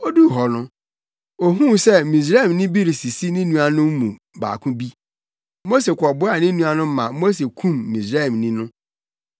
Oduu hɔ no ohuu sɛ Misraimni bi resisi ne nuanom mu baako bi. Mose kɔboaa ne nua no ma Mose kum Misraimni no.